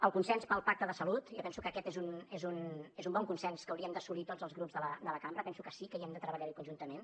el consens pel pacte de salut jo penso que aquest és un bon consens que hauríem d’assolir tots els grups de la cambra penso que sí que hi hem de treballar conjuntament